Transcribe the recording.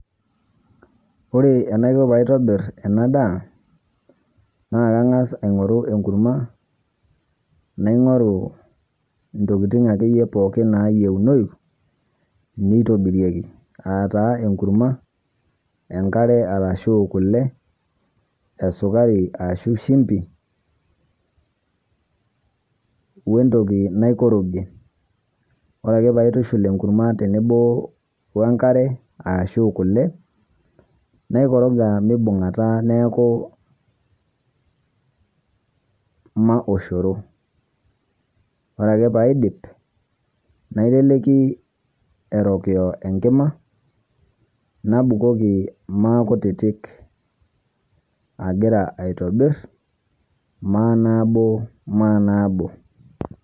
Ore enaikoo paa tobiir ena ndaa naa kaing'as aing'oru eguruma, naing'oru ntokitin ake iyee pooki naiyeng'unoi neitobirieki. Aata eguruma, enkaare arashu kulee, esukari ashu shimbii, wee ntokii naikorogie. Ore ake paa aitushuul eguruma tenebo onkaare ashu kulee naikoroga meibung'ataa neeku maa oshoroo. Ore ake paa idiip naiteleki erokio enkima nabuukoki maa kutitik egira aitobiir ma nabo maa nabo.